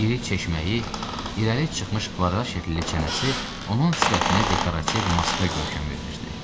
İri çeşməyi, irəli çıxmış kvadrat şəkilli çənəsi onun sifətinə dekorativ maska görkəmi verirdi.